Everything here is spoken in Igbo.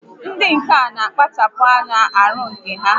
Ndị ǹkà n'akpachapụ anya n'ọrụ ǹkà ha